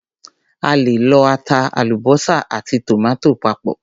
A lè lọ ata, àlúbósà àti tòmátò papọ̀.